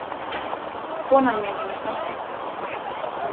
Konan mín hefur samþykkt þetta